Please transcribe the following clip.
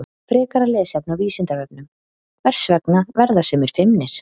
Frekara lesefni á Vísindavefnum: Hvers vegna verða sumir feimnir?